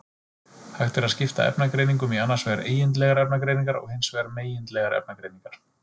Hægt er að skipta efnagreiningum í annars vegar eigindlegar efnagreiningar og hins vegar megindlegar efnagreiningar.